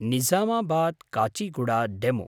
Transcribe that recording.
Nizamabad Kacheguda DEMU